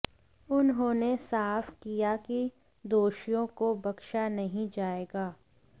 उन्होंने साफ किया कि दोषियों को बख्शा नहीं जाएगा